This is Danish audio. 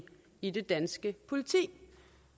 i det danske politi og